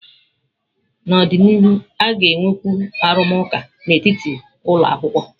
N'ọdịnihu, a ga-enwekwu arụmụka n'etiti ụlọ akwụkwọ.